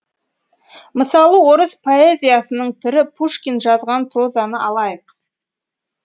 мысалы орыс поэзиясының пірі пушкин жазған прозаны алайық